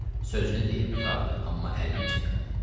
Sözünü deyib qurtardı, amma əlini çəkmədi.